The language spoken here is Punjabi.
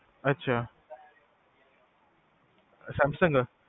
ਅਛਾ ਸੈਮਸੰਗ?